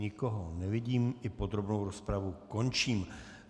Nikoho nevidím, i podrobnou rozpravu končím.